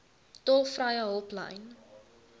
tolvrye hulplyn